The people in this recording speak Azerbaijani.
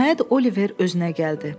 Nəhayət Oliver özünə gəldi.